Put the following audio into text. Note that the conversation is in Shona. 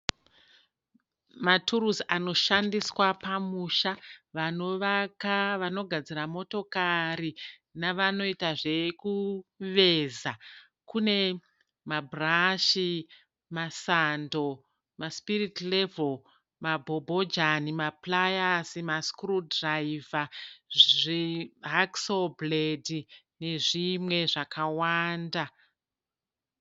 Maturusi anoshandiswa pamusha. Vanovaka, vanogadzira motokari nevanoita zvekuveza. Kune mabhurashi, masando, masipiriti revhoro, mabhobhojani, mapurayasi, masikuruu dhiraivha, zvihakiso bhuredhi nezvimwe zvakawanda.